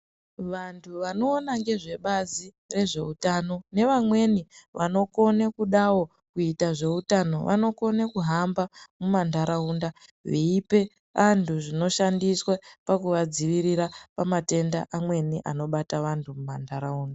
Vantu vanoona nezvebazi rezvehutano nevamweni vanokona kudavo kuita zveuutano. Vanokone kuhamba mumantaraunda veipe antu zvinoshandiswa pakuvadzivirira pamatenda amweni anobata vantu muma ntaraunda.